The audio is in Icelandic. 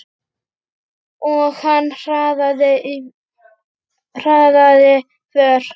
Og hann hraðaði för.